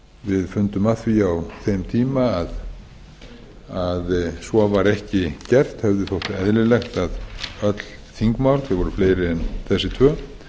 við fundum að því á þeim tíma að svo var ekki gert heldur þótti eðlilegt að öll þingmál sem voru fleiri en þessi tvö